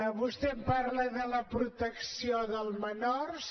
vostè em parla de la protecció dels menors